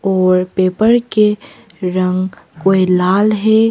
और पेपर के रंग कोई लाल है।